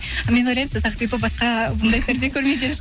мен ойлаймын сосын ақбибі басқа бұндай перде көрмеген